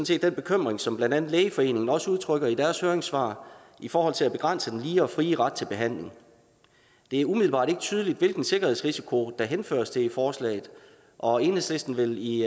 set den bekymring som blandt andet lægeforeningen også udtrykker i deres høringssvar i forhold til at begrænse den lige og frie ret til behandling det er umiddelbart ikke tydeligt hvilken sikkerhedsrisiko der henføres til i forslaget og enhedslisten vil i